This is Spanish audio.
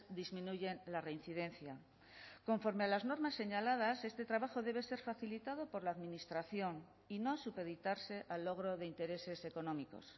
disminuyen la reincidencia conforme a las normas señaladas este trabajo debe ser facilitado por la administración y no supeditarse al logro de intereses económicos